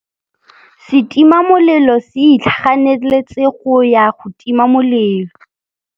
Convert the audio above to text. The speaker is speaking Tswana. Setima molelô se itlhaganêtse go ya go tima molelô.